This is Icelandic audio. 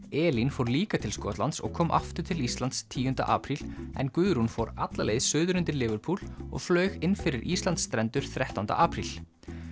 Elín fór líka til Skotlands og kom aftur til Íslands tíunda apríl en Guðrún fór alla leið suður undir Liverpool og flaug inn fyrir Íslandsstrendur þrettánda apríl